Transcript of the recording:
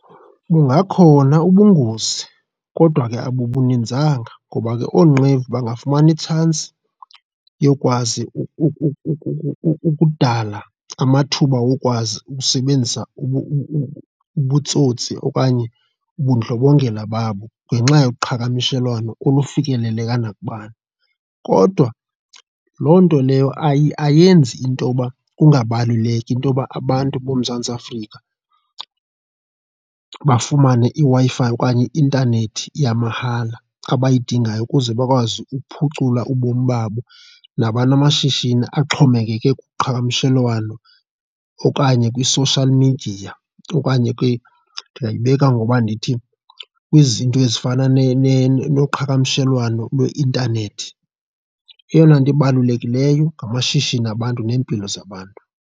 Bungakhona ubungozi kodwa ke abubuninzanga ngoba ke oonqevu bangafumani itshansi yokwazi ukudala amathuba wokwazi ukusebenzisa ubutsotsi okanye ubundlobongela babo ngenxa yoqhagamshelwano olufikeleleka nakubani kodwa loo nto leyo ayenzi intoba kungabaluleki into yoba abantu boMzantsi Afrika bafumane iWi-fi okanye i-intanethi yamahala, abayidingayo ukuze bakwazi ukuphucula ubomi babo nabanamashishini axhomekeke kuqhagamshelwano okanye kwi-social media okanye ke ndingayibeka ngoba ndithi kwizinto ezifana noqhagamshelwano lweintanethi. Eyona nto ibalulekileyo ngamashishini abantu neempilo zabantu.